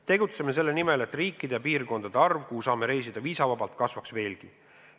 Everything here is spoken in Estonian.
Tegutseme selle nimel, et riikide ja piirkondade arv, kuhu saame reisida viisavabalt, kasvaks veelgi.